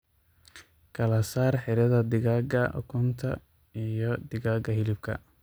Kala saar xiradha digaaga ukunta iyo digaaga hilibka.